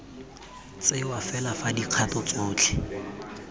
tsewa fela fa dikgato tsotlhe